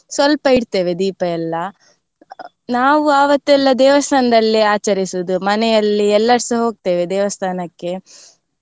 ಸ್ವಲ್ಪ ಇಡ್ತೇವೆ ದೀಪ ಎಲ್ಲ. ನಾವು ಆವತ್ತೆಲ್ಲಾ ದೇವಸ್ಥಾನದಲ್ಲೇ ಆಚರಿಸುದು ಮನೆಯಲ್ಲಿ ಎಲ್ಲರ್ಸ ಹೋಗ್ತೇವೆ ದೇವಸ್ಥಾನಕ್ಕೆ.